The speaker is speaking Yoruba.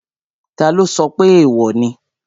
Taló sọ pé èèwò ni?